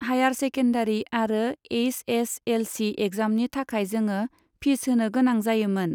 Higher secondary आरो H S L C एग्जामनि थाखाय जोङो फिस होनो गोनां जायोमोन।